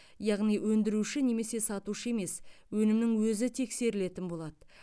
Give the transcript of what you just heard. яғни өндіруші немесе сатушы емес өнімнің өзі тексерілетін болады